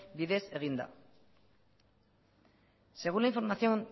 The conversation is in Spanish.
bidez eginda según la información